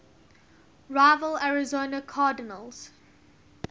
rival arizona cardinals